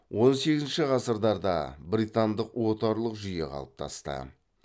он сегізінші ғасырдада британдық отарлық жүйе қалыптасты